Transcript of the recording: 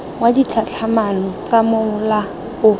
wa ditlhatlhamano tsa mola o